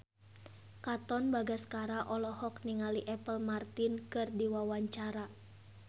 Katon Bagaskara olohok ningali Apple Martin keur diwawancara